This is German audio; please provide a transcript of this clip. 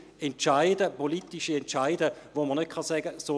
Dies sind politische Entscheide, bei welchen man nicht sagen kann: